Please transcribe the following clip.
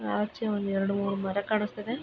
ಆಚೆ ಒಂದೆರಡ್ ಮೂರ್ ಮರ ಕಾಣಿಸ್ತಾ ಇದೆ.